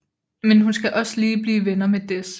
Men hun skal også lige blive venner med Dez